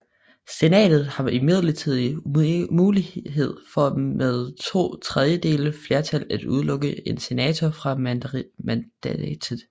Senatet har imidlertid mulighed for med to tredjedeles flertal at udelukke en senator fra mandatet